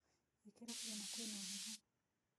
Ĩkĩra furana kwĩ na heho